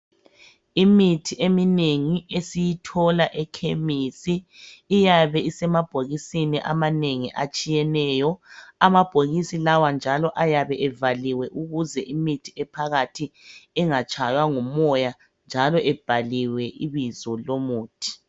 Imithi eminengi esiyithola emachemistry iyabe isemabhokisini amanengi atshiyeneyo amabhokisi lawa njalo ayabe evaliwe ukuze imithi ephakathi ingatshaywa ngumoya njalo ebhaliwe ibizo lomuthi